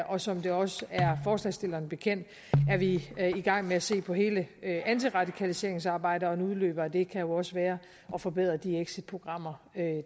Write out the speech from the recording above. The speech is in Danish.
og som det også er forslagsstillerne bekendt er vi i gang med at se på hele antiradikaliseringsarbejdet og en udløber af det kan jo også være at forbedre de exitprogrammer